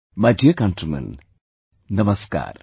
My dear countrymen, Namaskar